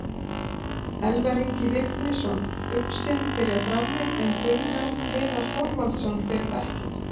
Elvar Ingi Vignisson, uxinn, byrjar frammi en Gunnar Heiðar Þorvaldsson fer á bekkinn.